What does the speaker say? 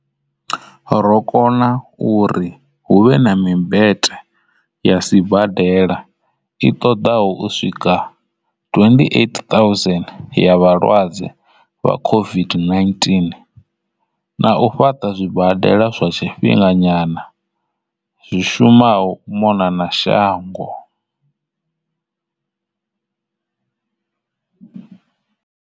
Ro kona u ri hu vhe na mimbete ya sibadela i ṱoḓaho u swika 28,000 ya vhalwadze vha COVID-19 na u fhaṱa zwibadela zwa tshifhinga nyana zwi shumaho u mona na shango.